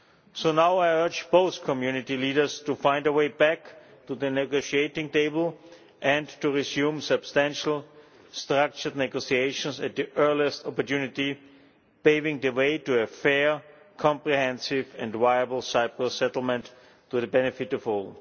So now I urge both community leaders to find a way back to the negotiating table and to resume substantial structured negotiations at the earliest opportunity, paving the way to a fair, comprehensive and viable Cyprus settlement to the benefit of all.